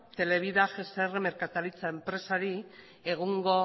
televida gsr merkataritza enpresari egungo